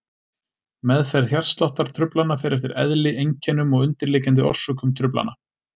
Meðferð hjartsláttartruflana fer eftir eðli, einkennum og undirliggjandi orsökum truflana.